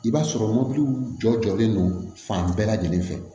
I b'a sɔrɔ jɔ jɔlen don fan bɛɛ lajɛlen fɛ